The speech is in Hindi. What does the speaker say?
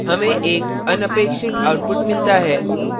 हमे एक अनपेक्षित output मिलता है